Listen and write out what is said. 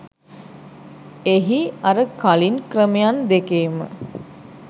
එහි අර කළින් ක්‍රමයන් දෙකේම